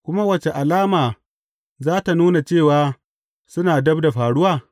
Kuma wace alama za tă nuna cewa suna dab da faruwa?